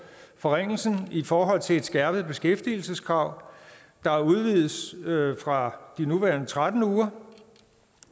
forringelsen i forhold til et skærpet beskæftigelseskrav der udvides fra de nuværende tretten uger